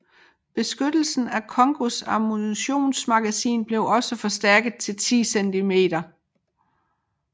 Beskyttelsen af Kongōs ammunitions magasiner blev også forstærket til 10 cm